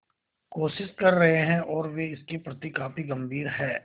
कोशिश कर रहे हैं और वे इसके प्रति काफी गंभीर हैं